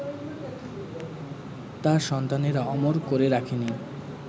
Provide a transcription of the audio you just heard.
তাঁর সন্তানেরা অমর করে রাখেনি